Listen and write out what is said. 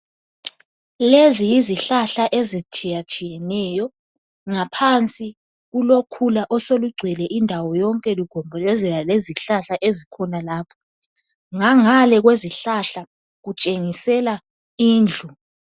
Lezi yizihlahla ezitshiyetshiyeneyo ngaphansi kwalezo zihlahla sekulokhula oseluhlumile ,le kukhanya kuthutsha izindlu zotshani.